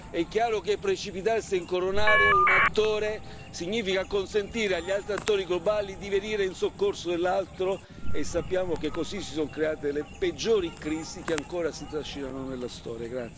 È chiaro che precipitarsi a incoronare un attore significa consentire agli altri attori globali di venire in soccorso dell'altro e sappiamo che così si sono create le peggiori crisi che ancora si trascinano nella storia.